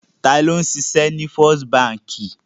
Ta ni ó ń ṣiṣẹ́ ní First Báńkì?